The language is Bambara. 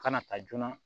Kana taa joona